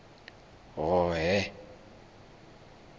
hhohhe